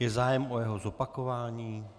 Je zájem o jeho zopakování?